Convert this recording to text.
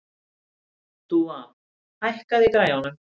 Dúa, hækkaðu í græjunum.